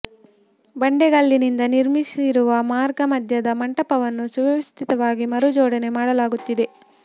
ಬಂಡೆಗಲ್ಲಿನಿಂದ ನಿರ್ಮಿಸಿರುವ ಮಾರ್ಗ ಮಧ್ಯದ ಮಂಟಪವನ್ನು ಸುವ್ಯವಸ್ಥಿತವಾಗಿ ಮರು ಜೋಡಣೆ ಮಾಡಲಾಗುತ್ತಿದೆ